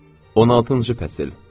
16-cı fəsil.